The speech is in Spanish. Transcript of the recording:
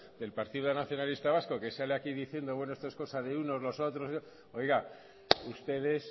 del partido nacionalista vasco que sale aquí diciendo bueno esto es cosa de unos los otros no sé qué oiga ustedes